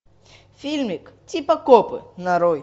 фильмик типа копы нарой